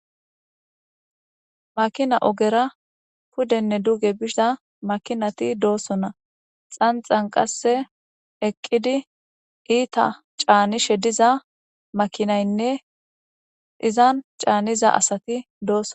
Makina oogeta pudenne duge biza mkinatti de'ossonna xanxan qase etta eqidi canishe diza maakinaynne izan caniza asati de'ossonna.